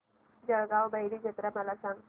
जळगाव भैरी जत्रा मला सांग